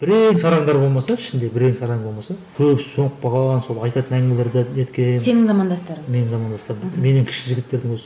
бірең сараңдары болмаса ішінде бірең сараңы болмаса көбісі солып қалған сол айтатын әңгімелері де неткен сенің замандастарың менің замандастарым менен кіші жігіттердің өзі